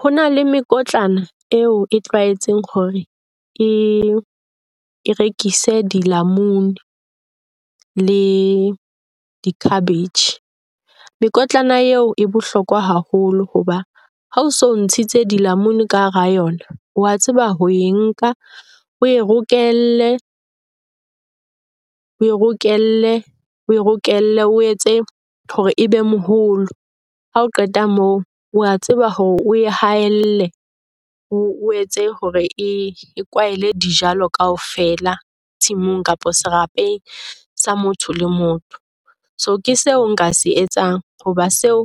Ho na le mekotlana eo e tlwaetseng hore e rekise di lamunu le di-cabbage. Mekotlana eo e bohlokwa haholo hoba ha o so ntshitse dilamunu ka hara yona. O a tseba ho e nka o e rokelle, o e rokelle, o rokelle o etse hore ebe moholo. Ha o qeta moo, wa tseba hore o e haelle, o etse hore e kwahele dijalo kaofela tshimong kapa serapeng sa motho le motho. So ke seo nka se etsang hoba setho ho